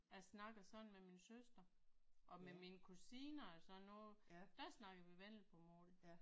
Jeg snakker sådan med min søster og med mine kusiner og sådan noget der snakker vi vendelbomål